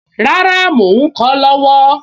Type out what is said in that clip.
Rárá, mò ń kọ ọ́ lọ́wọ́